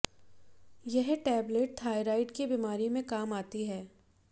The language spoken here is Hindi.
यह टेबलेट थायराइड की बीमारी में काम आती है